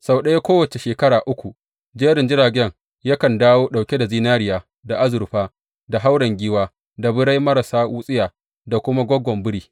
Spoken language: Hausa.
Sau ɗaya kowace shekara uku jerin jiragen yakan dawo ɗauke da zinariya, da azurfa, da hauren giwa, da birai marasa wutsiya, da kuma gogon biri.